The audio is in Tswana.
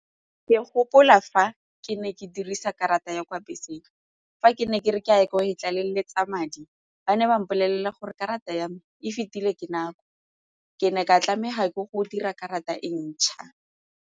Ke gopola fa ke ne ke dirisa karata ya kwa beseng, fa ke ne ke re ke a ya ko e tlaleletsa madi ba ne ba mpolelela gore karata ya me e fetile ke nako ke ne ka tlameha ke go dira karata e ntšha.